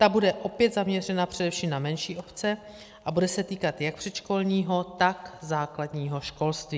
Ta bude opět zaměřena především na menší obce a bude se týkat jak předškolního, tak základního školství.